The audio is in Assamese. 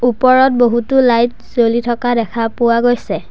ওপৰত বহুতো লাইট জ্বলি থকা দেখা পোৱা গৈছে।